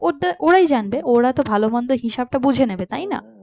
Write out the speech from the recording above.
ওদের ওরাই জানবে ওরা তো ভালো মন্দ হিসেবটা বুঝে নেবে তাই না?